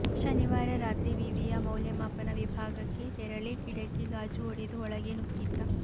ಶನಿವಾರ ರಾತ್ರಿ ವಿವಿಯ ಮೌಲ್ಯಮಾಪನ ವಿಭಾಗಕ್ಕೆ ತೆರಳಿ ಕಿಡಕಿ ಗಾಜು ಒಡೆದು ಒಳಗೆ ನುಗ್ಗಿದ್ದ